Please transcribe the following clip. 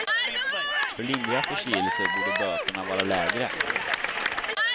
För lindriga förseelser borde böterna vara lägre.